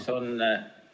Head kolleegid!